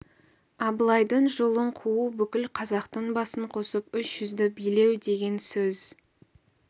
абылайдың жолын қуу бүкіл қазақтың басын қосып үш жүзді билеу деген сөз